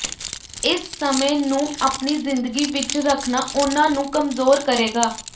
ਇਸ ਸਮੇਂ ਨੂੰ ਆਪਣੀ ਜ਼ਿੰਦਗੀ ਵਿਚ ਰੱਖਣਾ ਉਨ੍ਹਾਂ ਨੂੰ ਕਮਜ਼ੋਰ ਕਰੇਗਾ